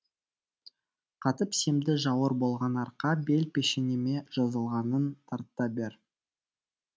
қатып семді жауыр болған арқа бел пешенеме жазылғанын тарта бер